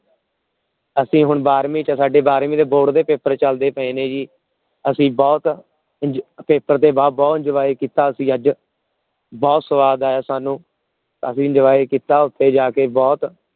ਅਸੀਂ ਹੁਣ ਬਾਰਵੀ ਚ ਬਾਰਵੀ ਦੇ ਸਾਡੇ board ਦੇ ਪੇਪਰ ਚਲਦੇ ਪਾਏ ਨੇ ਜੀ ਅਸੀਂ ਬਹੁਤ ਦੇ ਬਾਅਦ ਬਹੁਤ enjoy ਕੀਤਾ ਅਸੀਂ ਅੱਜ ਬਹੁਤ ਸਵਾਦ ਆਇਆ ਸਾਨੂ ਅਸੀਂ enjoy ਕੀਤਾ ਓਥੇ ਜਾ ਕੇ ਬਹ